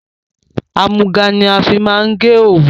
Àmúga ni a fi máa ń gé òwu